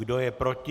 Kdo je proti?